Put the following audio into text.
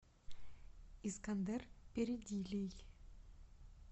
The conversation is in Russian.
искандер передилий